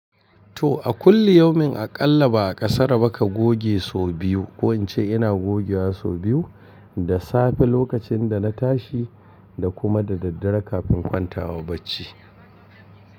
To a kulli yaumin aƙalla ba ƙasaru baka goge so biyu. Ko ince ina gogewa so biyu, da safe lokacin da na tashi da kuma da daddare kafin kwanta wa bacci.